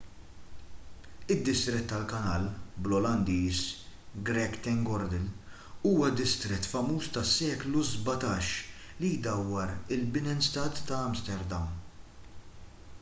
id-distrett tal-kanal bl-olandiż: grachtengordel huwa d-distrett famuż tas-seklu 17 li jdawwar il-binnenstad ta’ amsterdam